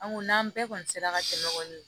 An ko n'an bɛɛ kɔni sera ka dɛmɛ kɔni